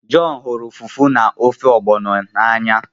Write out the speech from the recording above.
John huru Fufu na ofe Ogbono n'anya